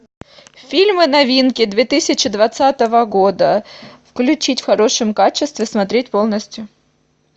фильмы новинки две тысячи двадцатого года включить в хорошем качестве смотреть полностью